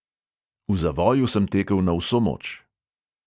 V zavoju sem tekel na vso moč.